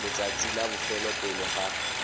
letsatsing la bofelo pele ga